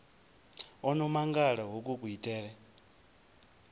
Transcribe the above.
o no mangala hoku kuitele